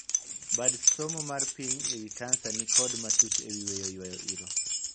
Bad somo mar piny e wii kansa ni kod matut e wii weyo yuayo iro.